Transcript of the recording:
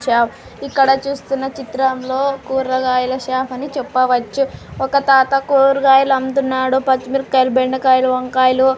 చా ఇక్కడ చూస్తున్న చిత్రంలో కూరగాయల షాపని చెప్పవచ్చు ఒక తాత కూర్గాయలు అమ్ముతున్నాడు పచ్చిమిరకాయలు బెండకాయలు వంకాయలు--